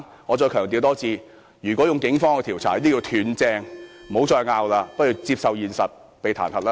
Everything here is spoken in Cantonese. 我再強調一次，如果是警方調查，這叫"斷正"，不應再爭辯，不如接受現實被彈劾。